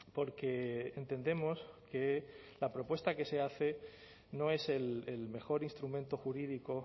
porque entendemos que la propuesta que se hace no es el mejor instrumento jurídico